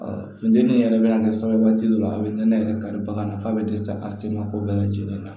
funtɛnni yɛrɛ bɛ na kɛ sababu dɔ ye a bɛ nɛnɛ yɛrɛ kari bagan na k'a bɛ dɛsɛ a sen ma ko bɛɛ lajɛlen na